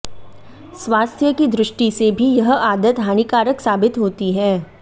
स्वास्थ्य की दृष्टि से भी यह आदत हानिकारक साबित होती है